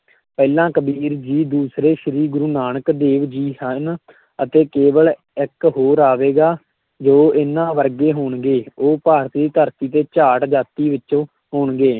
ਪਹਿਲਾਂ ਕਬੀਰ ਜੀ ਦੂਸਰੇ ਸ਼੍ਰੀ ਗੁਰੂ ਨਾਨਕ ਦੇਵ ਜੀ ਹਨ ਅਤੇ ਕੇਵਲ ਇੱਕ ਹੋਰ ਆਵੇਗਾ ਜੋ ਇਹਨਾਂ ਵਰਗੇ ਹੋਣਗੇ, ਉਹ ਭਾਰਤ ਦੀ ਧਰਤੀ ਤੇ ਜਾਟ ਜਾਤੀ ਵਿਚੋਂ ਹੋਣਗੇ।